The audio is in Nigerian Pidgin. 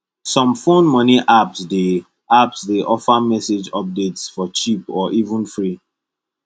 some phone money apps dey apps dey offer message updates for cheap or even free